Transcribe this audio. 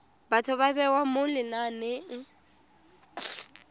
batho ba bewa mo lenaneng